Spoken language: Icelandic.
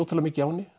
mikið á henni